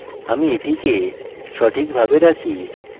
আমি এটিকে সঠিকভাবে রাখি